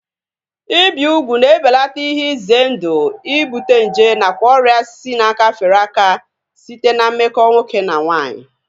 Ibi ugwu na-ebelata ihe ize ndụ ibute nje nakwa ọrịa si n'aka fere aka site na mmekọ nwoke na nwaanyị